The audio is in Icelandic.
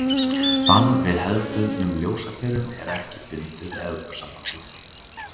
Bann við hefðbundnum ljósaperum er ekki bundið við Evrópusambandið.